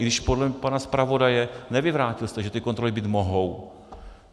I když podle pana zpravodaje, nevyvrátil jste, že ty kontroly být mohou.